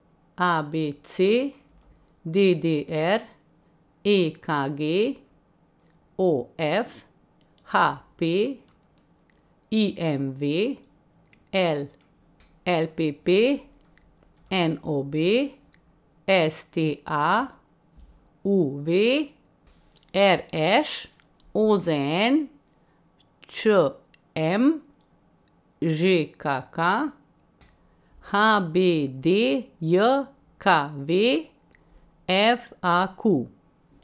A B C; D D R; E K G; O F; H P; I M V; L L P P; N O B; S T A; U V; R Š; O Z N; Č M; Ž K K; H B D J K V; F A Q.